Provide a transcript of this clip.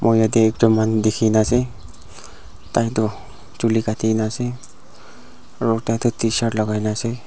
moi yatae ekjon manu dikhina ase taitoh chuli Kati na ase aro tai toh tshirt lakai na ase.